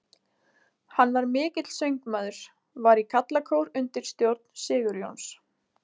Hann var mikill söngmaður, var í karlakór undir stjórn Sigurjóns